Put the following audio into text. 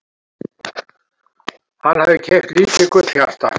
Hann hafði keypt lítið gullhjarta.